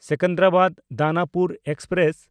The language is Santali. ᱥᱮᱠᱮᱱᱫᱨᱟᱵᱟᱫ–ᱫᱟᱱᱟᱯᱩᱨ ᱮᱠᱥᱯᱨᱮᱥ